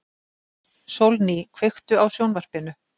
Sólný, kveiktu á sjónvarpinu.